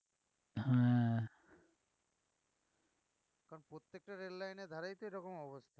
প্রত্যেকটা রেললাইনের ধারেই তো এরকম অবস্থা